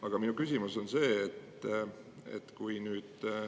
Aga minu küsimus on see.